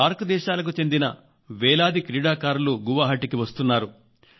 SAARC దేశాలకు చెందిన వేలాది క్రీడాకారులు గౌహతి కి వస్తున్నారు